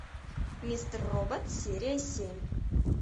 мистер робот серия семь